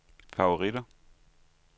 favoritter